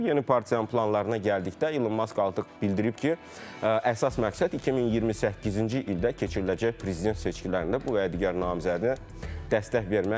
Yeni partiyanın planlarına gəldikdə Elon Musk artıq bildirib ki, əsas məqsəd 2028-ci ildə keçiriləcək prezident seçkilərində bu və digər namizədinə dəstək verməkdir.